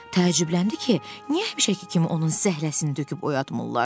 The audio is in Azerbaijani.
Təəccübləndi ki, niyə həmişəki kimi onun zəhləsini töküb oyatmırlar?